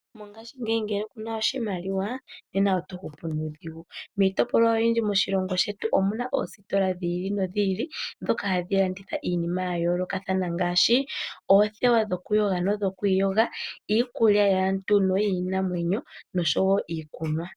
Mongaashingeyi ngele ku na oshimaliwa nena oto hupu nuudhigu. Miitopolwa oyindji moshilongo shetu omu na oositola dhi ili nodhi ili ndhoka hadhi longitha iinima ya yoolokathana ngaashi oothewa dhokuyoga nodhokwiiyoga, iikulya yaantu noyiinamwenyo noshowo iikunwa.